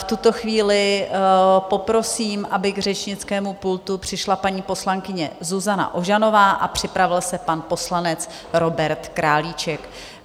V tuto chvíli poprosím, aby k řečnickému pultu přišla paní poslankyně Zuzana Ožanová a připravil se pan poslanec Robert Králíček.